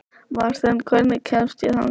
Marten, hvernig kemst ég þangað?